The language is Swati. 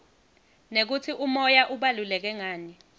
nekutsi umoya ubaluleke ngani